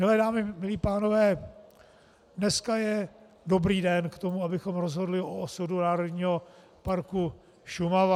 Milé dámy, milí pánové, dneska je dobrý den k tomu, abychom rozhodli o osudu Národního parku Šumava.